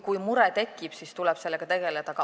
Kui mure tekib, siis tuleb sellega tegeleda.